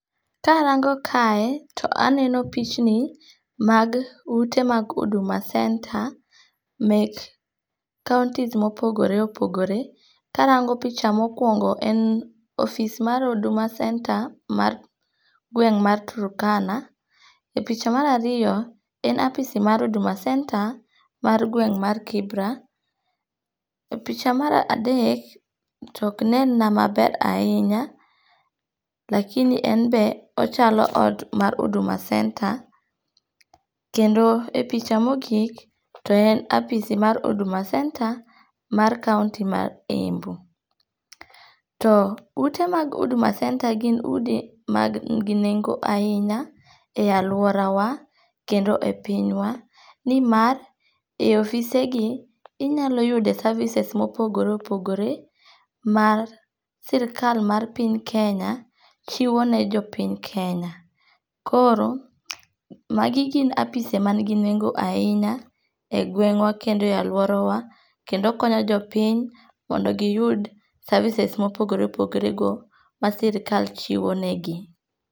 Karango kae to eneno pichni mag ute mag Huduma centre mek counties ma opogore opogore , karango picha mokuongo en office ma huduma cernter mar gweng mar Turkana, e picha marariyo en apisi mar huduma centrer mar gweng mar Kibra, e picha mar adek toknenna mabera hinya lakini en be ochalo ot mar huduma center kendo e picha mogik to en apisi mar huduma center ma county mar Embu, to ute mag huduma center gin udi mag manigi nengo' eahinya e aluorawa kendo e pinywa ni mar e ofisegi inyalo yudo services mopogore opogore ni mar sirikal mar piny Kenya chiwo nejopiny Kenya koro magi gin apise amanigi nengo ahinya e gwengwa kendo e aluorawa kendo okonyo jo piny mondo giyud services mopogore opogore go masirikal chiwonegi.